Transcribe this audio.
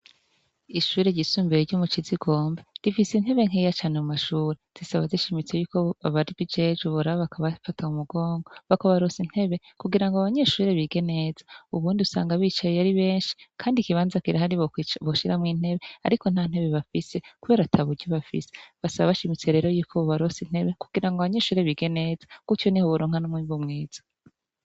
Ishure ryisumbuye ryo mucizigomba rifise intebe nkeya cane mu mashure risaba rishimitse yuko ababijejwe boraba bakabafata mu mugongo bakabaronsa intebe kugirango abanyeshure bige neza, ubundi usanga bicaye aribenshi Kandi ikibanza kirahari boshiramwo intebe ariko ntantebe bafise kubera ataburyo bafise, basaba bashimitse rero yuko bobaronsa intebe kugirango abanyeshure bige neza gutyo niho boronka n'umwimbu mwiza.